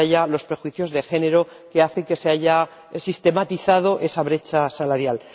los prejuicios de género que hacen que se haya sistematizado esa brecha salarial.